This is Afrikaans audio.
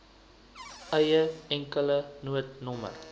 eie enkele noodnommer